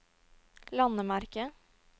landemerke